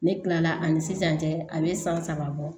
Ne tilala ani sisan cɛ a bɛ san saba bɔ